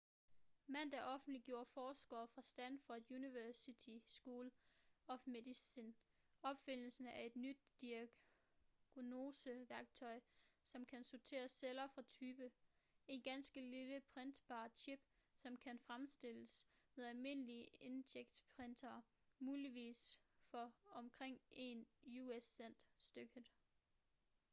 mandag offentliggjorde forskere fra stanford universitys school of medicine opfindelsen af et nyt diagnoseværktøj som kan sortere celler efter type en ganske lille printbar chip som kan fremstilles med almindelige inkjetprintere muligvis for omkring én us-cent stykket